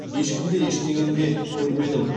ешкім де ештеңені де көрмедім